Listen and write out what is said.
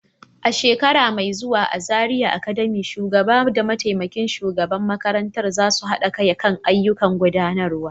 A shekara mai zuwa a Zariya Academy, shugaba da mataimakin shugaban makarantar za su haɗa kai kan ayyukan gudanarwa.